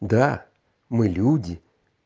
да мы люди